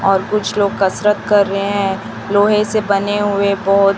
और कुछ लोग कसरत कर रहें हैं लोहे से बने हुए बॉल --